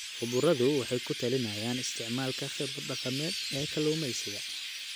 Khubaradu waxay ku talinayaan isticmaalka khibrad dhaqameed ee kalluumeysiga.